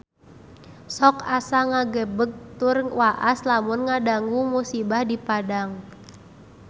Sok asa ngagebeg tur waas lamun ngadangu musibah di Padang